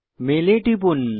mail এ টিপুন